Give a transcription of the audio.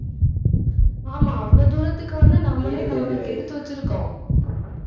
ஆமாம், அவ்வளவு தூரத்துக்கு வந்து, நம்மலே நம்மள கெடுத்து வெச்சுருக்கோம்